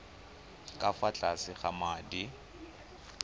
ka fa tlase ga madi